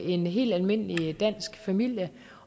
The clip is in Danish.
en helt almindelig dansk familie